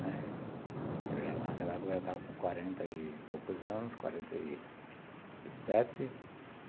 Né, naquela época ela estava com quarenta e poucos anos, quarenta e sete.